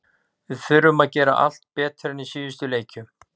Við þurfum að gera allt betur en í síðustu leikjum.